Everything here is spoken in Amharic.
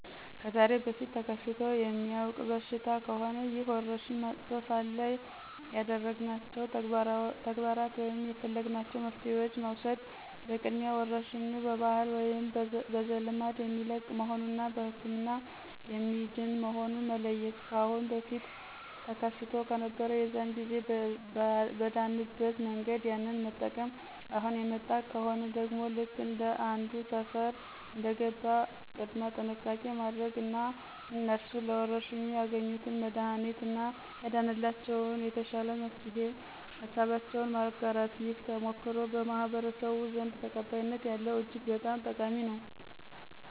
ከዛሬ በፊት ተከስቶ የሚያውቅ በሽታ ከሆነ ይህ ወረርሽኝ መጥቶ ሳለ ያደረግናቸው ተግባራት ወይም የፈለግናቸው መፍትሄዋችን መውሰድ በቅድሚያ ወረርሽኙ በባህል ወይም በዘልማድ የሚለቅ መሆኑን እና በህክምና የሚድን መሆኑን መለየት። ካአሁን በፊት ተከስቶ ከነበር የዛን ጊዜ በዳንበት መንገድ ያንን መጠቅም፣ አሁን የመጣ ከሆነ ደግሞ ልክ ከአንዱ ሰፈር እንደገባ ቅድመ ጥንቃቄ ማድረግ እና እነሱ ለወረርሽኙ ያገኙትን መድሀኒት እና ያዳነላቸውን የተሻለ መፍትሄ ሀሳባቸውን ማጋራት። ይህ ተሞክሮ በማህበረስቡ ዘንድ ተቀባይነት ያለው እጅግ በጣም ጠቃሚ ነው።